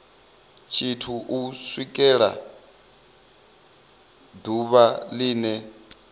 tshithu u swikela ḓuvha line